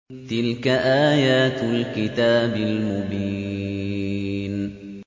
تِلْكَ آيَاتُ الْكِتَابِ الْمُبِينِ